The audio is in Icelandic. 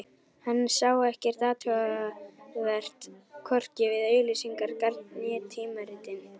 Hann sá ekkert athugavert, hvorki við auglýsingarnar né tímaritin.